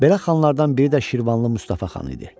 Belə xanlardan biri də Şirvanlı Mustafa xan idi.